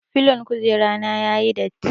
Filon kujera na ya yi datti.